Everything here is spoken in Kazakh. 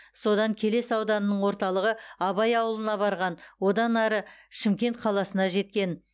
содан келес ауданының орталығы абай ауылына барған одан ары шымкент қаласына жеткен